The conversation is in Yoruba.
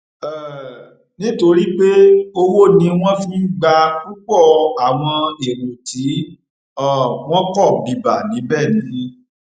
um nítorí pé owó ni wọn fi ń gba púpọ àwọn èrò tí um wọn pọ bíbá níbẹ ni